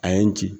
A ye n ci